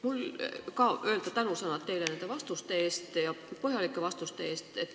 Mul on ka öelda tänusõnad teile nende põhjalike vastuste eest.